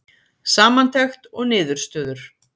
Samantekt og niðurstöður